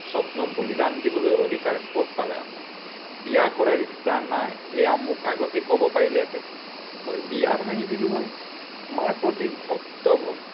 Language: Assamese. সপ্নক বলিদান দিবলৈ অধিকাৰ কত পালে আপুনি? বিয়া কৰাৰ ইচ্ছা নাই, সেয়া মোক আগতেই কব পাৰিলেহেঁতেন, মই বিয়া ভাঙি দিলো হয়। মাৰ প্ৰতি ভক্ত